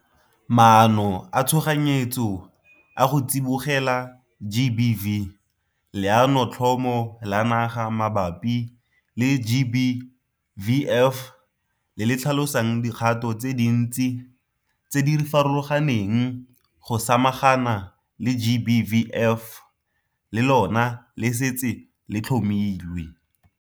Maano a tshoganyetso a go tsibogela GBV Leanotlhomo la Naga mabapi le GBVF, le le tlhalosang dikgato tse dintsi tse di farologaneng go samagana le GBVF, le lona le setse le tlhomilwe.